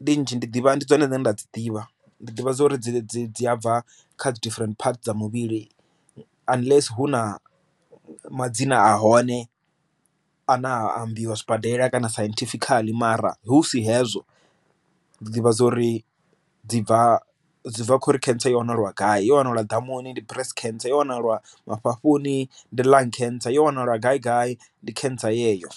ndi nzhi ndi ḓivha ndi dzone dzine nda dzi ḓivha ndi ḓivha dza uri dzi dzi dzi a bva kha dzi different parts dza muvhili unless hu na madzina a hone a na a ambiwa zwibadela kana siencifical ara hu si hezwo ḓivha dza uri dzi bva bva khori cancer ya wana lwa gai yo wana la ḓamuni ndi breast khentsa yo wana lwa mafhafhu ni ndi lung cancer ya wanala gai gai ndi khentsa yeyo.